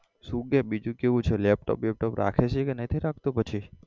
શુ કેય બીજુ કેવું છે laptop બેપટોપ રાખે છે કે નથી રાખતો પછી?